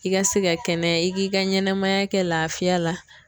I ka se ka kɛnɛya i k'i ka ɲɛnamaya kɛ laafiya la.